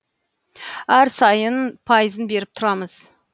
әр сайын сайын пайызын беріп тұрамыз